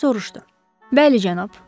Bəli, cənab.